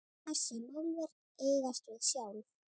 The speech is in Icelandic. Þessi málverk eigast við sjálf.